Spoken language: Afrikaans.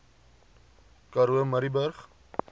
karoo murrayburg